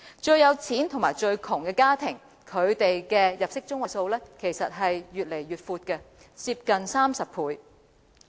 最富有與最貧窮的家庭的入息中位數差距越來越闊，接近30倍。